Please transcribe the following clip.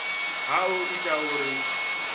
ha o ita uri hu